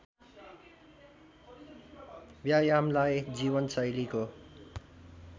व्यायामलाई जीवनशैलीको